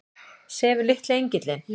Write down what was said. Sefur litli engillinn?